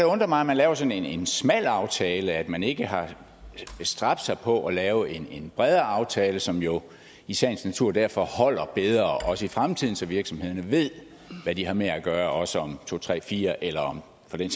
undre mig at man laver sådan en smal aftale og at man ikke har bestræbt sig på at lave en bredere aftale som jo i sagens natur derfor holder bedre også i fremtiden så virksomhederne ved hvad de har med at gøre også om to tre fire år eller for den